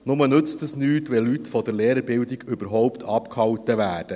Nur nützt dies nichts, wenn Leute von der Lehrerbildung überhaupt abgehalten werden.